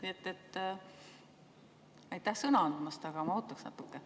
Nii et aitäh sõna andmast, aga ma ootaksin natuke.